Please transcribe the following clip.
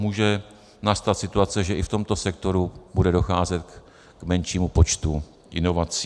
Může nastat situace, že i v tomto sektoru bude docházet k menšímu počtu inovací.